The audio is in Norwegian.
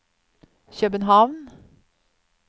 København